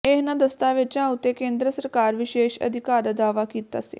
ਇਨ੍ਹਾਂ ਦਸਤਾਵੇਜਾਂ ਉਤੇ ਕੇਂਦਰ ਸਰਕਾਰ ਵਿਸ਼ੇਸ਼ ਅਧਿਕਾਰ ਦਾ ਦਾਅਵਾ ਕੀਤਾ ਸੀ